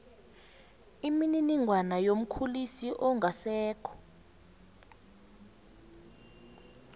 imininingwana yomkhulisi ongasekho